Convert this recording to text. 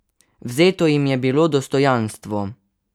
Vzeto jim je bilo dostojanstvo!